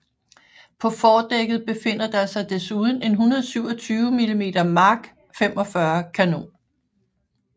På fordækket befinder der sig desuden en 127 mm Mark 45 kanon